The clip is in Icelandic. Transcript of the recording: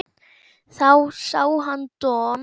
Þá sá hann Don